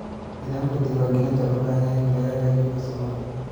Nidaamka diiwaangelinta wuxuu u baahan yahay in lagu hagaajiyo farsamada.